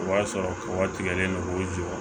O b'a sɔrɔ wagati tigɛlen don k'o jɔ